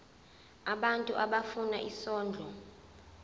abantu abafuna isondlo